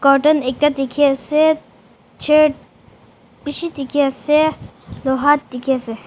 ekta dikhi ase chari bishi dikhi ase loha dikhi ase.